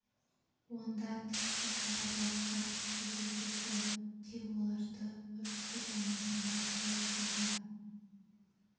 онда тіпті қара балықтар жүзіп жүрді тек оларды үркітіп алмасаңдар бопты да